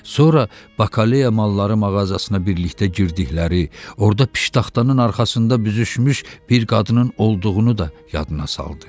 Sonra bakaleya malları mağazasına birlikdə girdikləri, orda piştaxtanın arxasında büzüşmüş bir qadının olduğunu da yadına saldı.